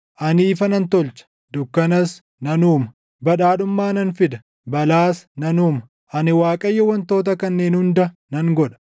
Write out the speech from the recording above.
Ani ifa nan tolcha; dukkanas nan uuma; badhaadhummaa nan fida; balaas nan uuma; ani Waaqayyo wantoota kanneen hunda nan godha.